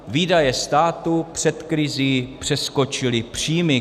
Výdaje státu před krizí přeskočily příjmy.